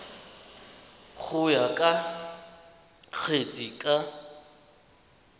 go ya ka kgetse ka